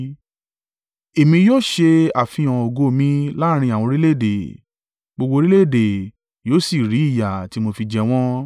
“Èmi yóò ṣe àfihàn ògo mi láàrín àwọn orílẹ̀-èdè, gbogbo orílẹ̀-èdè yóò sì rí ìyà tí mo fi jẹ wọ́n.